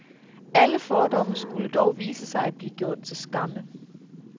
Alle fordomme skulle dog vise sig at blive gjort til skamme.